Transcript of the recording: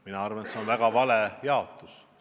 Mina arvan, et see on väga vale jaotus.